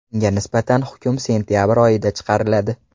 Unga nisbatan hukm sentabr oyida chiqariladi.